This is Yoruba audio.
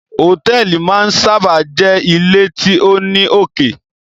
Hotẹẹli máa n sábà jé ile tí o ní oké